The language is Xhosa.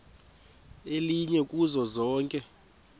elinye kuzo zonke